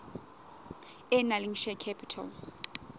e nang le share capital